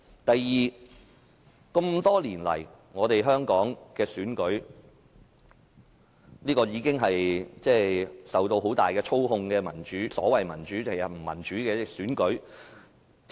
第二，這麼多年來，香港的選舉一直是受到很大操控的所謂民主但實質不民主的選舉。